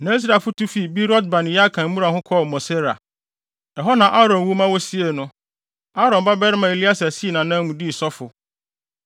Na Israelfo tu fii Beerot-Bene-Yaakan mmura ho kɔɔ Mosera. Ɛhɔ na Aaron wu ma wosiee no. Aaron babarima Eleasar sii nʼanan mu dii sɔfo.